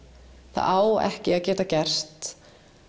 það á ekki að geta gert